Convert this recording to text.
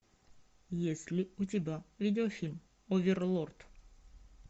есть ли у тебя видеофильм оверлорд